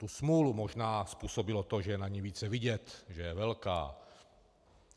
Tu smůlu možná způsobilo to, že je na ni více vidět, že je velká.